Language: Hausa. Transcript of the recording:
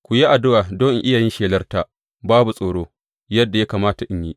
Ku yi addu’a don in iya yin shelarta babu tsoro, yadda ya kamata in yi.